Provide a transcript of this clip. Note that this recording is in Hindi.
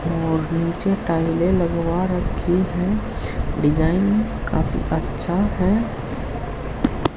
और नीचे टाइलें लगवा रखी है डिजाइन काफी अच्छा है।